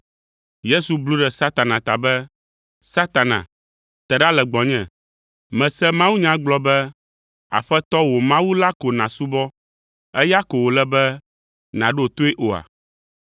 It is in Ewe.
Yesu blu ɖe Satan ta be, “Satana, te ɖa le gbɔnye! Mèse mawunya gblɔ be, ‘Aƒetɔ wò Mawu la ko nàsubɔ, eya ko wòle be nàɖo toe oa?’ ”